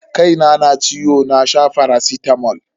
Kaina na ciwo na sha faracitamol.